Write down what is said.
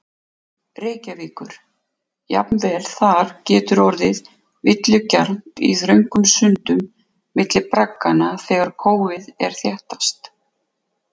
Reykjavíkur, jafnvel þar getur orðið villugjarnt í þröngum sundum milli bragganna þegar kófið er þéttast.